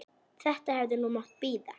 Þetta hefði nú mátt bíða.